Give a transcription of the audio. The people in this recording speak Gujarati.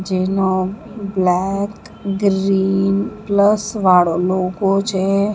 જેનો બ્લેક ગ્રીન પ્લસ વાળો લોગો છે.